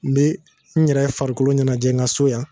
N bɛ n yɛrɛ farikolo ɲanajɛ n ka so yan.